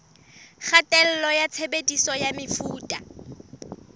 kgatello ya tshebediso ya mefuta